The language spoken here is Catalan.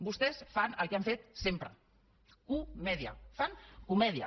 vostès fan el que han fet sempre comèdia fan comèdia